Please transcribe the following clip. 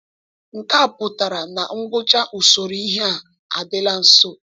Nke a pụtara na ngwụcha usoro ihe a adịla nso.